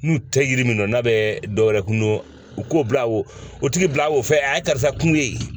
N'u tɛ yiri min n'a bɛ dɔwɛrɛ kun u k'o bila o tigi bila o fɛn a ye karisa kun ye